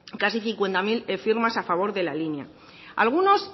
casi cincuenta mil firmas a favor de la línea a algunos